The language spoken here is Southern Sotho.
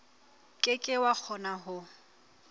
ke ke wa kgona ho